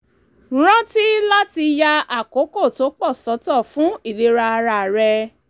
rántí láti ya àkókò tó pọ̀ sọ́tọ̀ fún ìlera ara rẹ